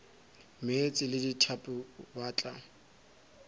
meetse le dithapo ba tla